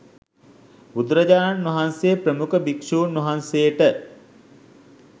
බුදුරජාණන් වහන්සේ ප්‍රමුඛ භික්ෂූන් වහන්සේට